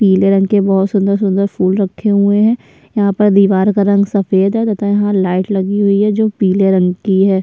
पिले रंग के बहुत सुन्दर-सुन्दर फूल रखे हुए है यहाँ पर दिवार का रंग सफ़ेद है तथा यहाँ लाइट लगी हुई है जो पिले रंग की है।